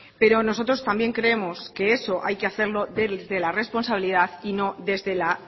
pero nosotros también creemos que eso hay que hacerlo desde la responsabilidad y no desde la